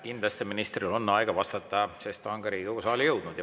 Kindlasti ministril on aega vastata, sest ta on Riigikogu saali jõudnud.